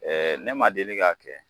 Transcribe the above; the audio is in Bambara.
ne ma deli k'a kɛ.